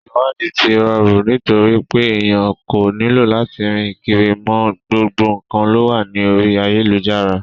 Ìsẹ̀wáàdí ti rọrù nitorípé ènìyàn kò nílò lati rìn kiri mọ, gbogbo nǹkan lówà ní orí ayélujára.